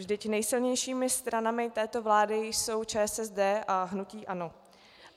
Vždyť nejsilnějšími stranami této vlády jsou ČSSD a hnutí ANO.